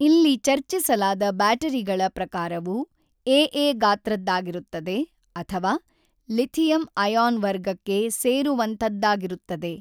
ಇಲ್ಲಿ ಚರ್ಚಿಸಲಾದ ಬ್ಯಾಟರಿಗಳ ಪ್ರಕಾರವು ಎಎ ಗಾತ್ರದ್ದಾಗಿರುತ್ತದೆ ಅಥವಾ ಲಿಥಿಯಂ-ಅಯಾನ್ ವರ್ಗಕ್ಕೆ ಸೇರುವಂಥದ್ದಾಗಿರುತ್ತದೆ.